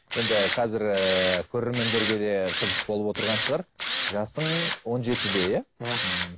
енді қазір ііі көрермендерге де қызық болып отырған шығар жасың он жетіде иә иә